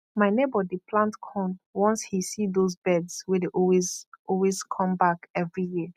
my neighbour dey plant corn once he see those birds wey dey always always come back every year